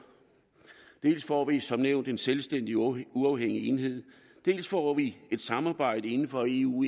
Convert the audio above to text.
dels får vi som nævnt en selvstændig og uafhængig enhed dels får vi et samarbejde inden for eu